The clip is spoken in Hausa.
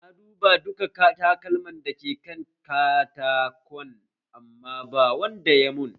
Na duba duka takalman da ke kan katakon amma ba wanda ya mun